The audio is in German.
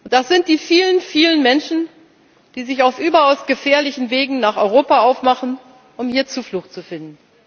Das sind die vielen, vielen Menschen, die sich auf überaus gefährlichen Wegen nach Europa aufmachen, um hier Zuflucht zu finden.